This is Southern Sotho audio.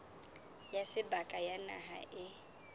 ya seboka ya naha e